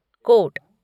coat